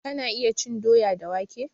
Ka iyana cin doya da wake?